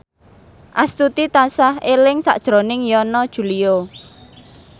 Astuti tansah eling sakjroning Yana Julio